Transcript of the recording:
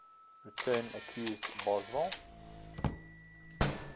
return accused boswell